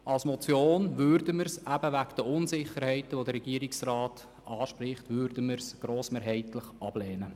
Als Motion lehnen wir den Vorstoss wegen der Unsicherheit, die der Regierungsrat anspricht, grossmehrheitlich ab.